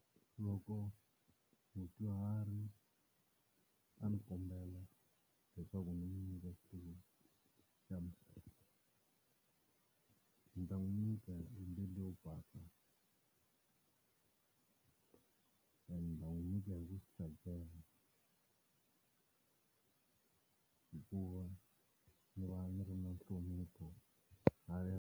Loko mudyuhari a ni kombela leswaku n'wi nyika xitulu xa mina, ni ta n'wi nyika hi mbilu to basa ende ni ta n'wi nyika hi ku swi tsakela hikuva ni va ni ri na nhlonipho .